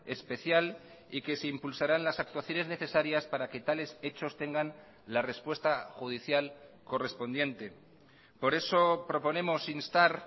especial y que se impulsarán las actuaciones necesarias para que tales hechos tengan la respuesta judicial correspondiente por eso proponemos instar